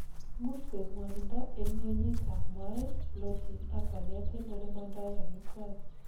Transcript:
imuch koib ngwonindo en ngweny itab moet, bloating ak walet en ole mondoen omitwogik